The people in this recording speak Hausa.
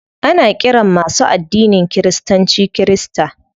Ana ƙiran masu addinin kiristanci kirista.